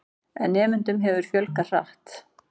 En nemendum hefur fjölgað hratt.